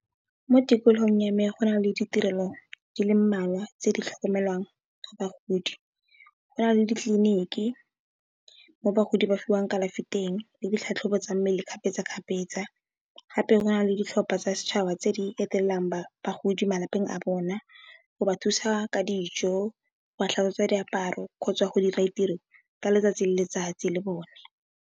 Mo tikologong ya me go na le ditirelo di le mmalwa tse di tlhokomelang bagodi go na le ditliliniki mo bagodi ba fiwang kalafi teng le ditlhatlhobo tsa mmele kgapetsa, kgapetsa, gape go na le ditlhopha tsa setšhaba tse di etelelang bagodi malapeng a bona go ba thusa ka dijo, go ba tlhatsetswa diaparo kgotsa go dira ditiro ka letsatsi le letsatsi le bone.